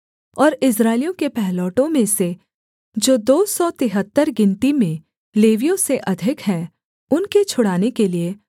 और इस्राएलियों के पहिलौठों में से जो दो सौ तिहत्तर गिनती में लेवियों से अधिक हैं उनके छुड़ाने के लिये